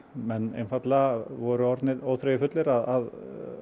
menn einfaldlega voru orðnir óþreyjufullir að